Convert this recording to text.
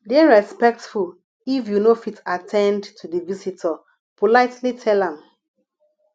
dey respectful if you no fit at ten d to di visitor politely tell am